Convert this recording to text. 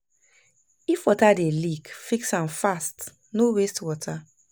If water dey leak, fix am fast, no waste water